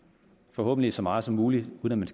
forhåbentlig så meget som muligt uden at